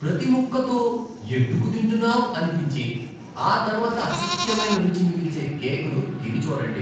ప్రతి ముక్కతో ఎందుకు తింటున్నాం అనిపించి, ఆ తర్వాత అసహ్యమైన రుచి మిగిల్చే కేక్ను తిని చూడండి